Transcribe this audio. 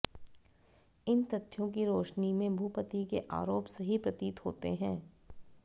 इन तथ्यों की रोशनी में भूपति के आरोप सही प्रतीत होते हैं